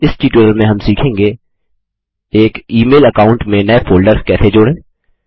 इस ट्यूटोरियल में हम सीखेंगे एक ई मेल अकाउंट में नये फोल्डर्स कैसे जोड़ें